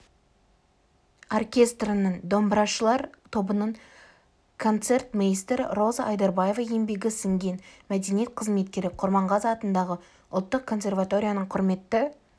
оркестрінің домбырашылар тобының концертмейстері роза айдарбаева еңбегі сіңген мәдениет қызметкері құрманғазы атындағы ұлттық консерваторияның құрметті